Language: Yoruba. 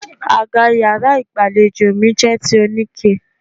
Àga yàrá ìgbàlejò mi jẹ́ ti oníke.